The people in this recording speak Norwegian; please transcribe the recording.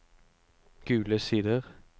Gule Sider